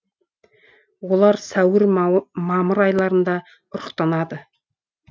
олар сәуір мамыр айларында ұрықтанады